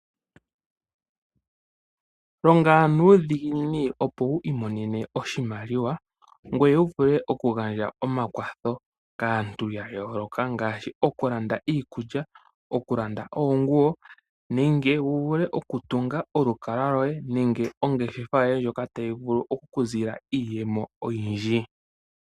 Longa nuudhiginini, opo wu imonene oshimaliwa ngoye wu vule okugandja omakwatho kaantu ya yooloka ngaashi: okulanda iikulya, okulanda oonguwo nenge wu vule okutunga olukalwa lwoye nenge ongeshefa ndjoka tayi vulu oku ku zila iiyemo oyindji.